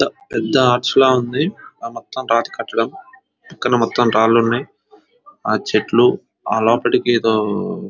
పెద్ద ఆర్చ్ లా ఉంది ఆ మొత్తం రాతి కట్టడం పక్కన మొత్తం రాళ్లు ఉన్నాయి ఆ చెట్లు ఆ లోపటికి ఏదో